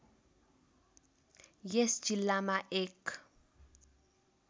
यस जिल्लामा एक